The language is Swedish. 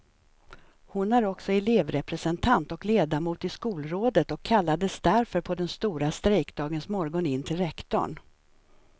Hon är också elevrepresentant och ledamot i skolrådet och kallades därför på den stora strejkdagens morgon in till rektorn.